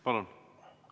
Palun!